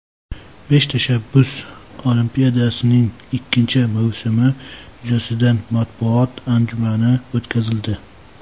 "Besh tashabbus olimpiadasi"ning ikkinchi mavsumi yuzasidan matbuot anjumani o‘tkazildi.